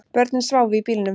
Börnin sváfu í bílnum